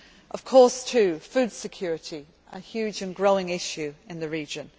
their society. Of course, too, food security, a huge and growing issue